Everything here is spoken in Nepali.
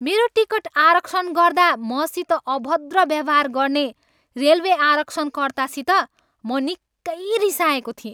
मेरो टिकट आरक्षण गर्दा मसित अभद्र व्यवहार गर्ने रेलवे आरक्षणकर्तासित म निकै रिसाएको थिएँ।